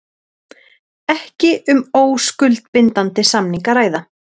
Ekki um óskuldbindandi samning að ræða